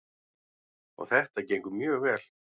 Og þetta gengur mjög vel.